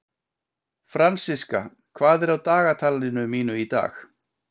Fransiska, hvað er á dagatalinu mínu í dag?